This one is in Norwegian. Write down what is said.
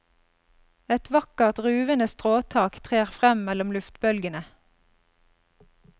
Et vakkert, ruvende stråtak trer frem mellom luftbølgende.